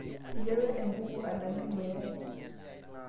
iterua enkuku adanyu ilmayayi